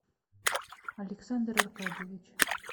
александр аркадьевич